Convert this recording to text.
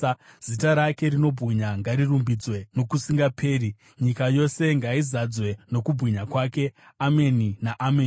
Zita rake rinobwinya ngarirumbidzwe nokusingaperi; nyika yose ngaizadzwe nokubwinya kwake. Ameni naAmeni.